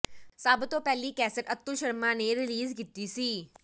ਸਭ ਤੋਂ ਪਹਿਲੀ ਕੈਸੇਟ ਅਤੁਲ ਸ਼ਰਮਾ ਨੇ ਰਿਲੀਜ਼ ਕੀਤੀ ਸੀ